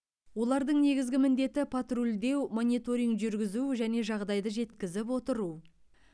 олардың негізгі міндеті патрульдеу мониторинг жүргізу және жағдайды жеткізіп отыру